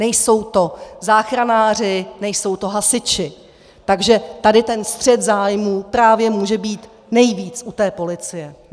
Nejsou to záchranáři, nejsou to hasiči, takže tady ten střet zájmů právě může být nejvíc u té policie.